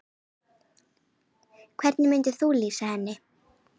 Hvernig myndir þú lýsa henni?